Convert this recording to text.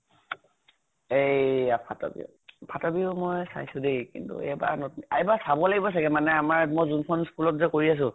এইয়া ফাতৰ বিহু। ফাতৰ বিহু মৈ চাইছো দেই কিন্তু এবাৰ নতুন এইবাৰ চাব লাগিব চাগে মানে আমাৰ মই যোন খন school ত যে কৰি আছো